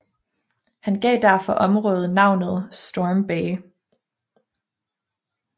Han gav derfor området navnet Storm Bay